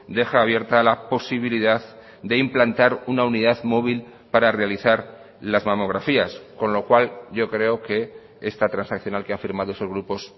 deja abierta la posibilidad de implantar una unidad móvil para realizar las mamografías con lo cual yo creo que esta transaccional que ha firmado esos grupos